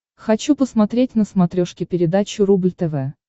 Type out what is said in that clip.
хочу посмотреть на смотрешке передачу рубль тв